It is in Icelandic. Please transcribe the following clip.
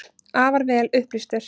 Afar vel upplýstur.